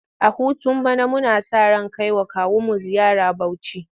A hutun bana muna sa ran kai wa kawunmu ziyara Bauchi.